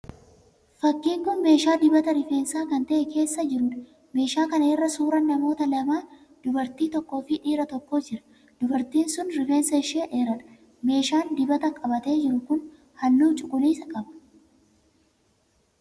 Fakkiin meeshaa dibata rifeensaa kan ta'ee keessa jiruudha. Meeshaa kana irra suuraan namoota lamaa, dubartii tokkoo fi dhiira tokko jiru. Dubartiin sun rifeensi ishee dheeradha. Meeshaan dibata qabatee jiru kun halluu cuquliisa qaba.